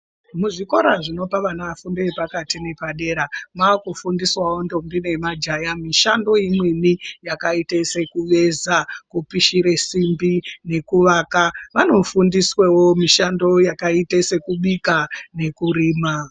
Muzvikora zvinopa vana fundo yepakati neyapadera, mwaakufundisawo ndombo nemajaya mishando imweni yakaite sekuveza, kupishire simbi nekuvaka. Vanofundiswawo mishando yakaita sokubika nokurima.